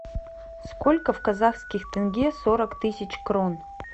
сколько в казахских тенге сорок тысяч крон